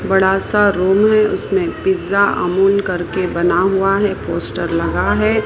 बड़ा सा रूम है उसमें पिज़्ज़ा अमूल करके बना हुआ है एक पोस्टर लगा है।